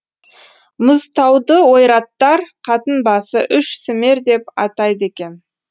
мұзтауды ойраттар қатын басы үш сүмер деп атайды екен